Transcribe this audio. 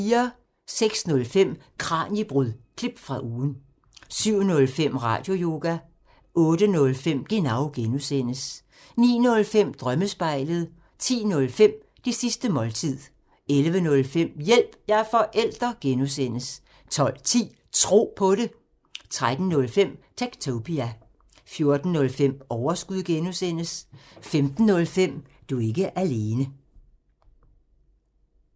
06:05: Kraniebrud – klip fra ugen 07:05: Radioyoga 08:05: Genau (G) 09:05: Drømmespejlet 10:05: Det sidste måltid 11:05: Hjælp – jeg er forælder! (G) 12:10: Tro på det 13:05: Techtopia 14:05: Overskud (G) 15:05: Du er ikke alene